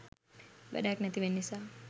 වැඩක් නැතිවෙන නිසා.